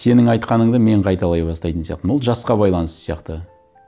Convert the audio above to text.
сенің айтқаныңды мен қайталай бастайтын сияқтымын ол жасқа байланысты сияқты